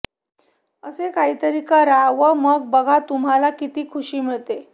असे काहीतरी करा व मग बघा तुम्हाला कीती खुषी मिळते